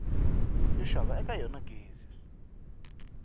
yo xava eka yona gezi